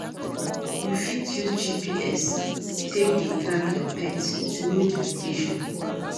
You fit use GPS take dey track your pet to know di location